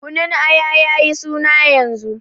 Kunun Aya ya yi suna yanzu.